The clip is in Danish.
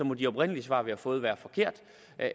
må de oprindelige svar vi har fået være forkerte